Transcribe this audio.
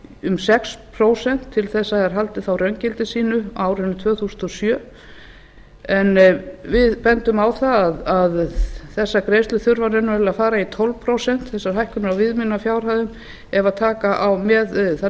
um sex prósent til þess að þær haldi þá raungildi sínu á árinu tvö þúsund og sjö við bendum á að þessar greiðslur þurfa raunverulega að fara í tólf prósent þessar hækkanir á viðmiðunarfjárhæðum ef taka á með þær